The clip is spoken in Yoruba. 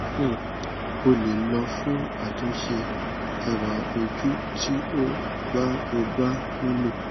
um o le lọ fun atunṣe ẹwa oju ti o ba o ba nilo